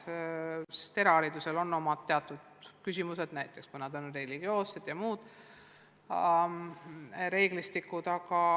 Erahariduses on omad teatud küsimused, näiteks religioosse sisuga ja muud reeglistikud.